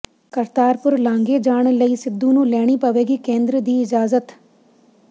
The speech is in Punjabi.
ਕਰਤਾਰਪੁਰ ਲਾਂਘੇ ਜਾਣ ਲਈ ਸਿੱਧੂ ਨੂੰ ਲੈਣੀ ਪਵੇਗੀ ਕੇਂਦਰ ਦੀ ਇਜਾਜ਼ਤ